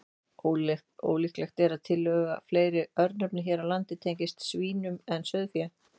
Ólíklegt er að tiltölulega fleiri örnefni hér á landi tengist svínum en sauðfé.